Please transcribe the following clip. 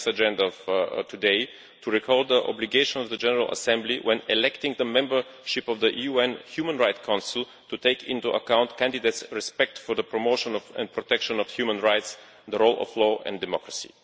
It is the next agenda item of today to recall the obligation of the General Assembly when electing the membership of the UN Human Rights Council to take into account candidates' respect for the promotion of and protection of human rights, the rule of law and democracy.